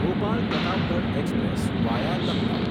Bhopal Pratapgarh express via Lucknow